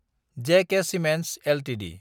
ज K cements Ltd